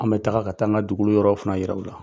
An bɛ taga ka taa an ka dugu yɔrɔ fana yira u la